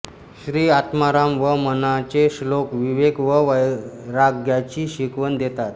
श्री आत्माराम व मनाचे श्लोक विवेक व वैराग्याची शिकवण देतात